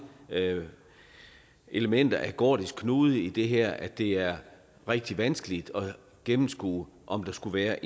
elementer af gordisk knude i det her at det er rigtig vanskeligt at gennemskue om der skulle være